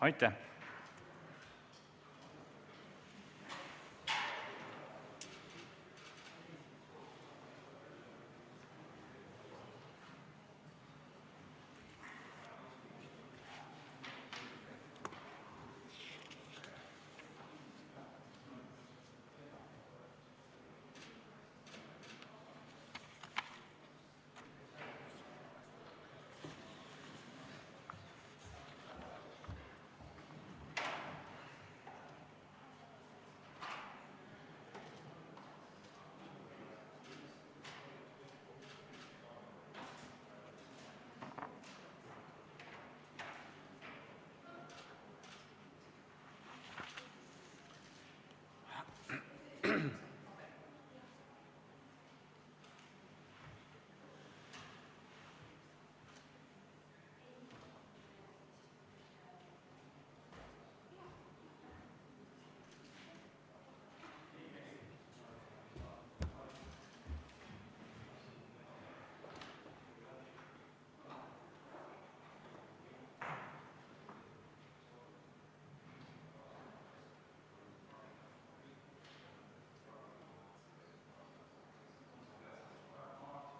Aitäh!